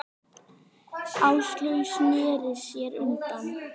Áslaug sneri sér undan.